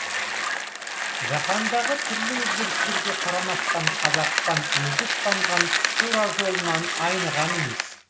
жаһандағы түрлі өзгерістерге қарамастан қазақстан өзі ұстанған тура жолынан айныған емес